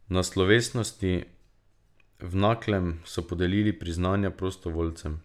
Na slovesnosti v Naklem so podelili priznanja prostovoljcem.